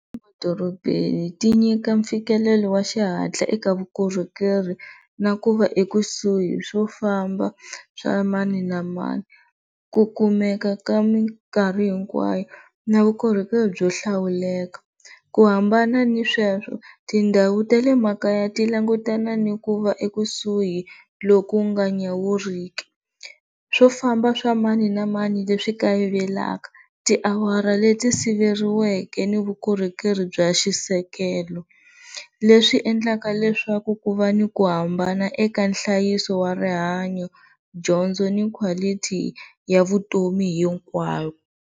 Edorobeni ti nyika fikelelo wa xihatla eka vukorhokeri na ku va ekusuhi swo famba swa mani na mani ku kumeka ka minkarhi hinkwayo na vukorhokeri byo hlawuleka ku hambana ni sweswo tindhawu ta le makaya tilangutana ni ku va ekusuhi lo ku nga nyawuriki swo famba swa mani na mani leswi kayivelaka tiawara leti siveriweke ni vukorhokeri bya xisekelo leswi endlaka leswaku ku va ni ku hambana eka nhlayiso wa rihanyo dyondzo ni quality ya vutomi hinkwayo.